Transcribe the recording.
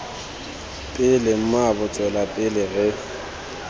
pele mmaabo tswela pele re